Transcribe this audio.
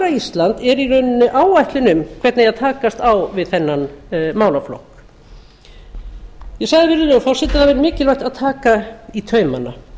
ísland er í rauninni áætlun um hvernig eigi að takast á við þennan málaflokk ég sagði virðulegi forseti að það væri mikilvægt að taka í taumana